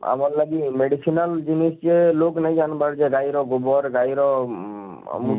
ଆମର ଲାଗି medicinal ଜିନିଷ ଯେ ଲୋକ ନେଇ ଜାନବାର କି ଇଟା ଇଟା ଗୁବର ଗାଈର ମୁଁ ମୁଁ